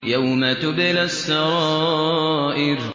يَوْمَ تُبْلَى السَّرَائِرُ